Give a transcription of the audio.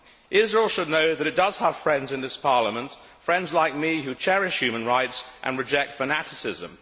Israel should know that it does have friends in this Parliament, friends like me who cherish human rights and reject fanaticism.